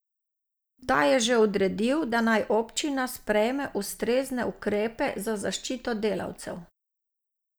Ta je že odredil, da naj občina sprejme ustrezne ukrepe za zaščito delavcev.